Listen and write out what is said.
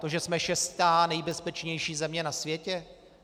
To, že jsme šestá nejbezpečnější země na světě?